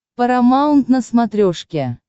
парамаунт на смотрешке